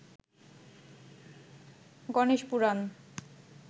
Ganesh Purana